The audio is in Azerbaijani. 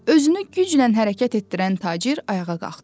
Özünü güclə hərəkət etdirən tacir ayağa qalxdı.